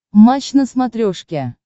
матч на смотрешке